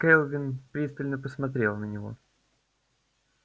кэлвин пристально посмотрела на него